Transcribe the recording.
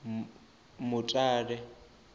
mutale